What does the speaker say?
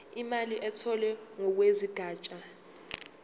imali etholwe ngokwesigatshana